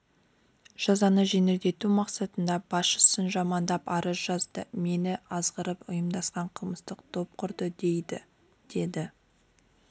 жазаны жеңілдету мақсатында басшысын жамандап арыз жазады мені азығырып ұйымдасқан қылмыстық топ құрды дейді деді